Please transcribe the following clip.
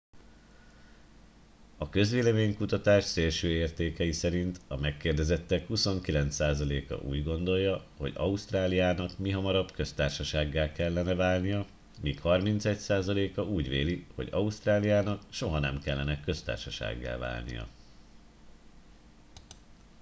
a közvélemény kutatás szélső értékei szerint a megkérdezettek 29%-a úgy gondolja hogy ausztráliának mihamarabb köztársasággá kellene válnia míg 31%-a úgy véli hogy ausztráliának soha nem kellene köztársasággá válnia